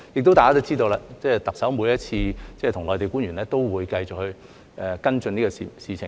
大家亦知道，特首每次跟內地官員會面都會繼續跟進這方面事情。